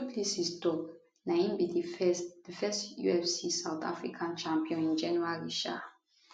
du plessis tok na im be di first di first ufc south africa champion in january um